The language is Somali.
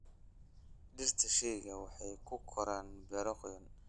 Dhirta shayga waxay ku koraan beero qoyan.